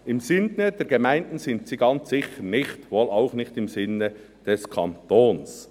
Im Sinn der Gemeinden sind sie ganz sicher nicht, wohl auch nicht im Sinn des Kantons.»